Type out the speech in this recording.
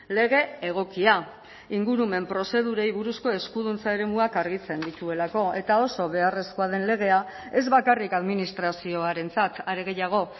lege egokia ingurumen prozedurei buruzko eskuduntza eremuak argitzen dituelako eta oso beharrezkoa den legea ez bakarrik administrazioarentzat are gehiago